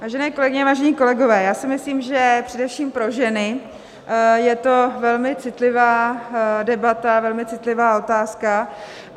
Vážené kolegyně, vážení kolegové, já si myslím, že především pro ženy je to velmi citlivá debata, velmi citlivá otázka.